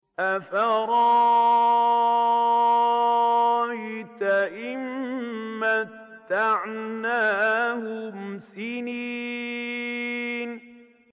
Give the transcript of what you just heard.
أَفَرَأَيْتَ إِن مَّتَّعْنَاهُمْ سِنِينَ